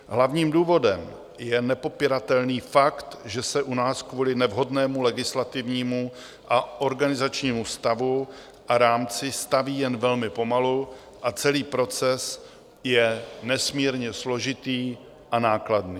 Hlavním důvodem je nepopiratelný fakt, že se u nás kvůli nevhodnému legislativnímu a organizačnímu stavu a rámci staví jen velmi pomalu a celý proces je nesmírně složitý a nákladný.